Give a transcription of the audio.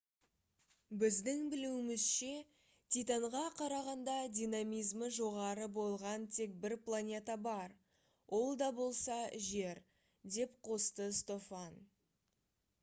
біздің білуімізше титанға қарағанда динамизмі жоғары болған тек бір планета бар ол да болса жер» - деп қосты стофан